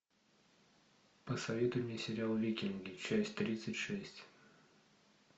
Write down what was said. посоветуй мне сериал викинги часть тридцать шесть